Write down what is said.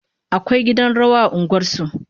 Akwai gidan rawa a unguwar su